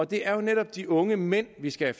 det er jo netop de unge mænd vi skal